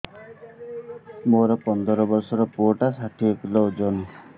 ମୋର ପନ୍ଦର ଵର୍ଷର ପୁଅ ଟା ଷାଠିଏ କିଲୋ ଅଜନ